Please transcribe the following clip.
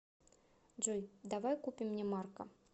джой давай купим мне марка